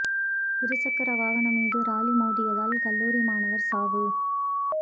இரு சக்கர வாகனம் மீது லாரி மோதியதில் கல்லூரி மாணவா் சாவு